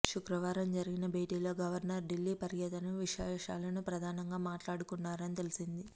శుక్రవారం జరిగిన భేటీలో గవర్నర్ ఢిల్లీ పర్యటన విశేషాలను ప్రధానంగా మాట్లాడుకున్నారని తెలిసింది